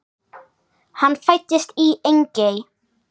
Hann fæddist í Engey.